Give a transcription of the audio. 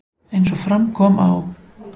Eins og fram kom á